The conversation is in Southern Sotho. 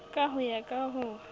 ka ho ya ka ho